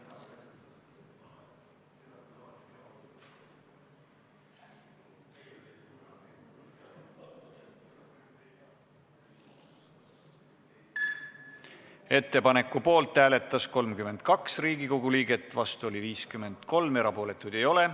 Hääletustulemused Ettepaneku poolt hääletas 32 Riigikogu liiget, vastu oli 53, erapooletuid ei ole.